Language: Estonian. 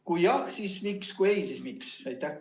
Kui jah, siis miks, ning kui ei, siis miks?